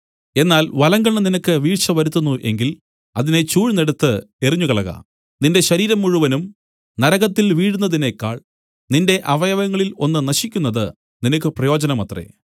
എന്നാൽ വലങ്കണ്ണ് നിനക്ക് വീഴ്ച വരുത്തുന്നു എങ്കിൽ അതിനെ ചൂഴ്ന്നെടുത്ത് എറിഞ്ഞുകളക നിന്റെ ശരീരം മുഴുവനും നരകത്തിൽ വീഴുന്നതിനേക്കാൾ നിന്റെ അവയവങ്ങളിൽ ഒന്ന് നശിക്കുന്നത് നിനക്ക് പ്രയോജനമത്രേ